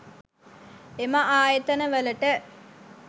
එම ආයතන වලට